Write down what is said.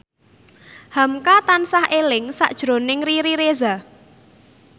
hamka tansah eling sakjroning Riri Reza